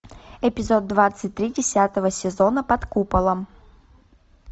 эпизод двадцать три десятого сезона под куполом